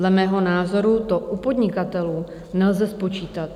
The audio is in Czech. Za mého názoru to u podnikatelů nelze spočítat.